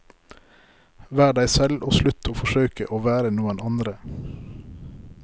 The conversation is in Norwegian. Vær deg selv og slutt å forsøke å være noen andre.